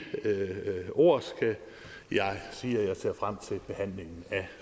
ord skal jeg sige at jeg ser frem til behandlingen af